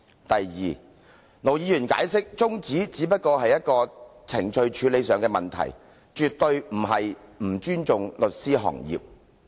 第二，盧議員解釋，他動議中止待續議案，只是程序處理問題，絕非不尊重律師行業。